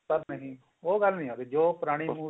ਪਰ ਨਹੀਂ ਉਹ ਗੱਲ ਨੀ ਆਉਂਦੀ ਜੋ ਪੁਰਾਣੀ